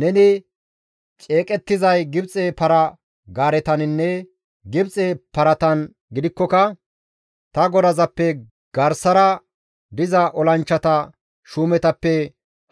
Neni ceeqettizay Gibxe para-gaaretaninne Gibxe paratan gidikkoka ta godazappe garsara diza olanchchata shuumetappe